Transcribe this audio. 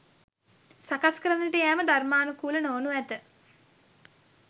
සකස් කරන්නට යෑම ධර්මානුකූල නොවනු ඇත